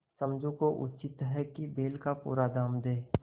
समझू को उचित है कि बैल का पूरा दाम दें